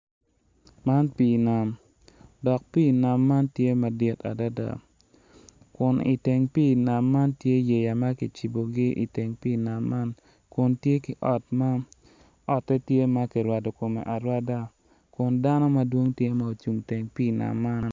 Man pii nam dok pii nam man tye madit adada kun ki iteng pii nam man tye yeya ma kicibogi kun tye ki ot ma kirwadokome arwada kun dano madwong gitye gucung i teng pii nam man.